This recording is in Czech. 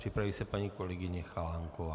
Připraví se paní kolegyně Chalánková.